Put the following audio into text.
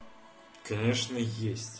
конечно есть